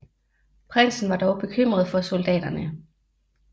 Prinsen var dog bekymret for soldaterne